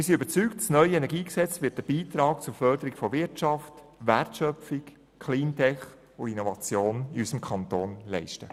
Wir sind überzeugt, das neue KEnG wird einen Beitrag zur Förderung von Wirtschaft, Wertschöpfung, Cleantech und Innovation in unserem Kanton leisten.